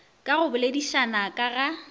ka go boledišana ka ga